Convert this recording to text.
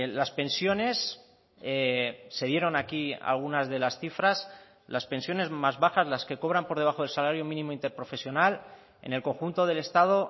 las pensiones se dieron aquí algunas de las cifras las pensiones más bajas las que cobran por debajo del salario mínimo interprofesional en el conjunto del estado